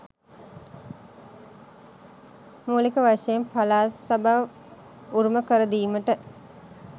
මුලික වශයෙන් පළාත් සභා උරුම කරදීමට